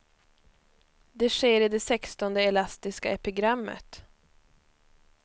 Det sker i det sextonde elastiska epigrammet.